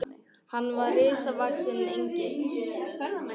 Hann var risavaxinn Engill.